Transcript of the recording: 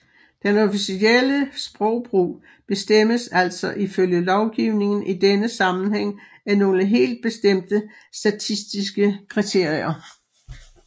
Den officielle sprogbrug bestemmes altså ifølge lovgivningen i denne sammenhæng af nogle helt bestemte statistiske kriterier